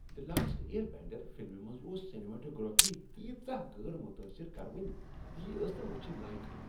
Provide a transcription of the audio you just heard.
"دی last airbender" فلمہ منٛز ٲس سینماٹوگرافی تیژاہ غٲر متٲثر کرونۍ زِ یہ ٲس نہٕ وٕچھِنۍ لایق۔